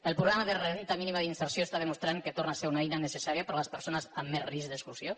el programa de renda mínima d’inserció demostra que torna a ser una eina necessària per a les persones amb més risc d’exclusió